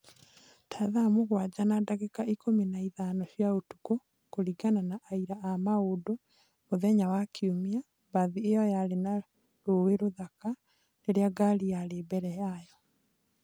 Ta thaa mũgwanja na ndagĩka ikũmi na ithano cia ũtukũ. Kũringana na aira a maũndũ, mũthenya wa Kiumia, mbathi ĩyo yarĩ na rũũĩ rũthaka rĩrĩa ngari yarĩ mbere yayo.